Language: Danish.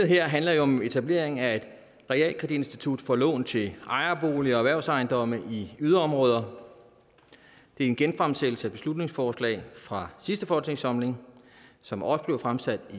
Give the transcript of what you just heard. her handler jo om etablering af et realkreditinstitut for lån til ejerboliger og erhvervsejendomme i yderområder det er en genfremsættelse af et beslutningsforslag fra sidste folketingssamling som også blev fremsat